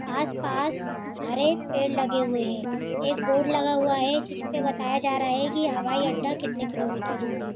आस-पास हरे पेड़ लगे हुए है। एक बोर्ड लगा हुआ है। जिसपे बताया जा रहा है की हवाई अड्डा कितने किलोमीटर दूर है।